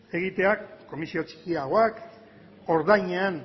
egitea komisio txikiagoak ordainean